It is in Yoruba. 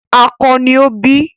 Akọ ni o bí.